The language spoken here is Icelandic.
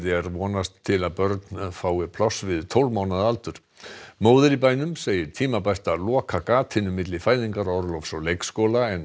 er vonast til að börn fái pláss við tólf mánaða aldur móðir í bænum segir tímabært að loka gatinu milli fæðingarorlofs og leikskóla en